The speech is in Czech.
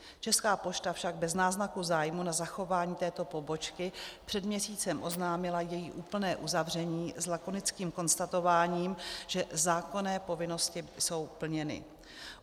Česká pošta však bez náznaku zájmu na zachování této pobočky před měsícem oznámila její úplné uzavření s lakonickým konstatováním, že zákonné povinnosti jsou plněny.